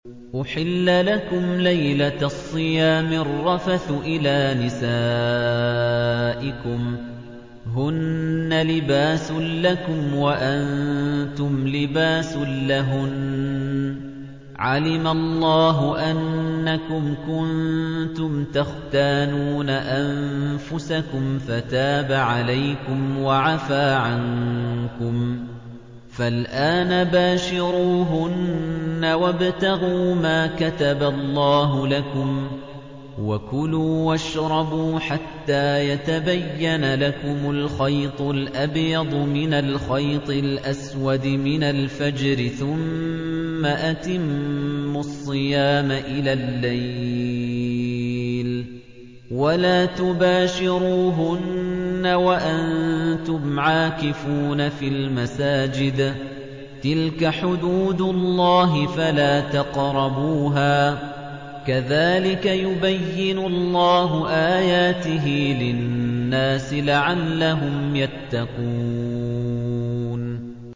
أُحِلَّ لَكُمْ لَيْلَةَ الصِّيَامِ الرَّفَثُ إِلَىٰ نِسَائِكُمْ ۚ هُنَّ لِبَاسٌ لَّكُمْ وَأَنتُمْ لِبَاسٌ لَّهُنَّ ۗ عَلِمَ اللَّهُ أَنَّكُمْ كُنتُمْ تَخْتَانُونَ أَنفُسَكُمْ فَتَابَ عَلَيْكُمْ وَعَفَا عَنكُمْ ۖ فَالْآنَ بَاشِرُوهُنَّ وَابْتَغُوا مَا كَتَبَ اللَّهُ لَكُمْ ۚ وَكُلُوا وَاشْرَبُوا حَتَّىٰ يَتَبَيَّنَ لَكُمُ الْخَيْطُ الْأَبْيَضُ مِنَ الْخَيْطِ الْأَسْوَدِ مِنَ الْفَجْرِ ۖ ثُمَّ أَتِمُّوا الصِّيَامَ إِلَى اللَّيْلِ ۚ وَلَا تُبَاشِرُوهُنَّ وَأَنتُمْ عَاكِفُونَ فِي الْمَسَاجِدِ ۗ تِلْكَ حُدُودُ اللَّهِ فَلَا تَقْرَبُوهَا ۗ كَذَٰلِكَ يُبَيِّنُ اللَّهُ آيَاتِهِ لِلنَّاسِ لَعَلَّهُمْ يَتَّقُونَ